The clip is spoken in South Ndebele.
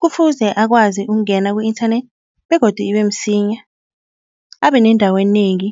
Kufuze akwazi ukungena ku-internet begodu ibe msinya. Abe nendawo enengi